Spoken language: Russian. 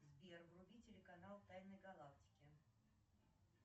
сбер вруби телеканал тайны галактики